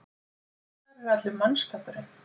Hvar er allur mannskapurinn?